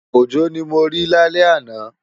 Ojo ni mó ri lálè àná